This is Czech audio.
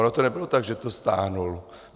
Ono to nebylo tak, že to stáhl.